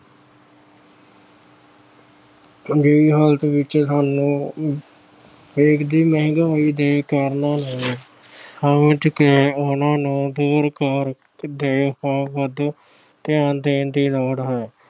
ਅਜਿਹੀ ਹਾਲਤ ਵਿੱਚ ਸਾਨੂੰ ਦੇਸ਼ ਦੀ ਮਹਿੰਗਾਈ ਦੇ ਕਾਰਨ ਸਮਝ ਕੇ ਉਹਨਾਂ ਨੂੰ ਦੂਰ ਕਰਨ ਦੇ ਉਪਾਅ ਵੱਲ ਧਿਆਨ ਦੇਣ ਦੀ ਲੋੜ ਹੈ।